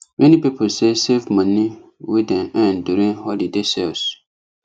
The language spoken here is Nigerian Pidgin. many people say save money wey dem earn during holiday sales